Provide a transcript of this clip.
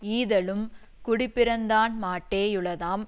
ஈதலும் குடிப்பிறந்தான்மாட்டே யுளதாம்